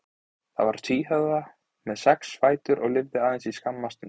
Það var tvíhöfða með sex fætur og lifði aðeins skamma stund.